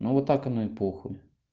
ну вот так оно и похуй